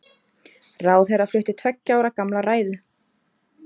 Ráðherra flutti tveggja ára gamla ræðu